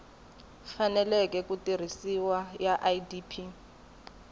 faneleke ku tirhisiwa ya idp